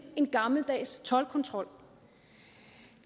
end gammeldags toldkontrol